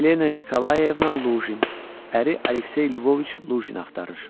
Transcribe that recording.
Yelena Nikolayevna Luqin, əri Aleksey Lvoviç Luqini axtarır.